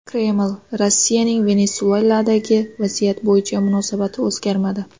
Kreml: Rossiyaning Venesueladagi vaziyat bo‘yicha munosabati o‘zgarmadi.